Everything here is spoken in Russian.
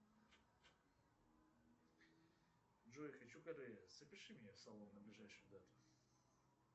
джой хочу запиши меня в салон на ближайшую дату